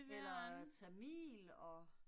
Eller tamil og